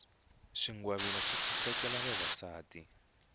swingwavila swi sasekisa vavasati